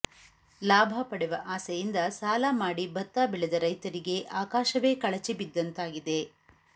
ಲಾಭ ಪಡೆವ ಆಸೆಯಿಂದ ಸಾಲ ಮಾಡಿ ಭತ್ತ ಬೆಳೆದ ರೈತರಿಗೆ ಆಕಾಶವೇ ಕಳಿಚಿ ಬಿದ್ದಂತಾಗಿದೆ